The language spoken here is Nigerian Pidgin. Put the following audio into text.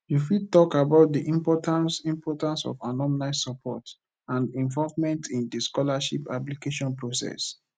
you fit talk about di importance importance of alumni support and involvement in di scholarship application process